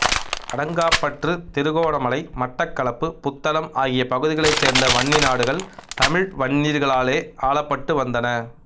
அடங்காப்பற்று திருகோணமலை மட்டக்களப்பு புத்தளம் ஆகிய பகுதிகளைச் சேர்ந்த வன்னிநாடுகள் தமிழ் வன்னியர்களாலேயே ஆளப்பட்டு வந்தன